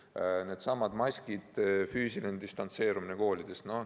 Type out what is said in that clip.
Või needsamad maskid ja füüsiline distantseerumine koolides.